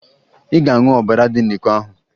Ị ga-aṅụ ọbara dị n'iko ahụ!